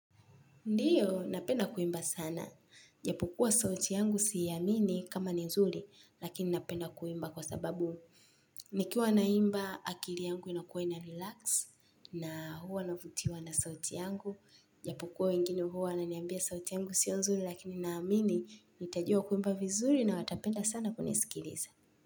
Ndiyo, napenda kuimba sana. Ijapokuwa sauti yangu siiamini kama ni nzuri, lakini napenda kuimba kwa sababu. Nikiwa naimba akili yangu inakuwa ina-relax na huwa navutiwa na sauti yangu. Ijapokua wengine huwa wananiambia sauti yangu sio nzuri lakini naamini. Najua kuimba vizuri na watapenda sana kunisikiliza.